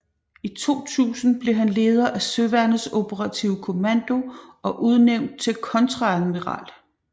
I 2000 blev han leder af Søværnets Operative Kommando og udnævnt til kontreadmiral